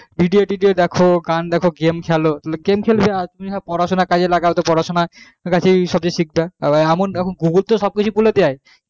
video টিডিও দেখো গান দেখো game খেলো game খেলবে আর তুমি যদি পরা সোনা কাজ এ লাগাও লাগাও তো পড়া সোনা সবকিছ শিখবা আর এখন google তো সবকিছু বলে দেয যে কোনো question পারবে না